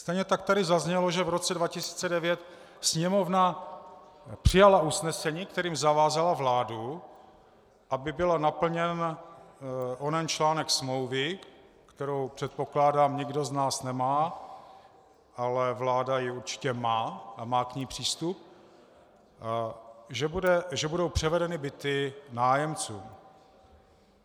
Stejně tak tady zaznělo, že v roce 2009 Sněmovna přijala usnesení, kterým zavázala vládu, aby byl naplněn onen článek smlouvy, kterou, předpokládám, nikdo z nás nemá, ale vláda ji určitě má a má k ní přístup, že budou převedeny byty nájemcům.